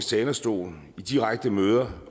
talerstol og på direkte møder